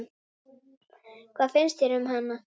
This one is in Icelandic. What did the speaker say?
Hvað finnst þér um hana?